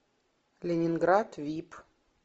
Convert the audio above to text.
ленинград вип